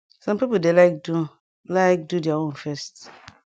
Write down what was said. sum pipu dey like do like do dia own first